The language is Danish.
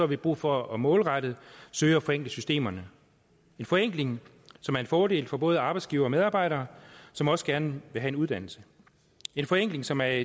vi brug for at målrette og søge at forenkle systemerne en forenkling som er en fordel for både arbejdsgivere medarbejdere som også gerne vil have en uddannelse en forenkling som er